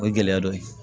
O ye gɛlɛya dɔ ye